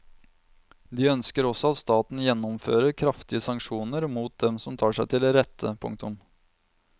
De ønsker også at staten gjennomfører kraftige sanksjoner mot dem som tar seg til rette. punktum